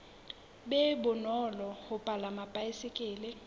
be bonolo ho palama baesekele